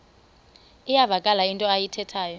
iyavakala into ayithethayo